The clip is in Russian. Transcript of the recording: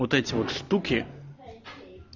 вот эти вот штуки